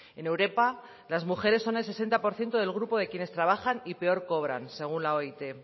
en europa las mujeres son el sesenta por ciento del grupo de quienes trabajan y peor cobran según la oit